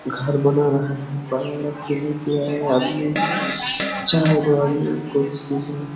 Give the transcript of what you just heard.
घर बना रहा है चार कुर्सी हैं ।